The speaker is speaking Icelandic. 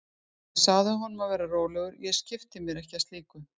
Ég sagði honum að vera rólegur, ég skipti mér ekki af slíku.